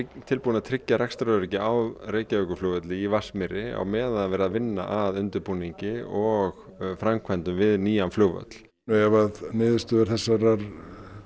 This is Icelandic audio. tilbúin að tryggja rekstraröryggi á Reykjavíkurflugvelli í Vatnsmýri á meðan er verið að vinna að undirbúningi og framkvæmdum við nýjan flugvöll ef niðurstöður þessarar